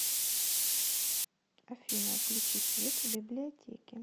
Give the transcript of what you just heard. афина включи свет в библиотеке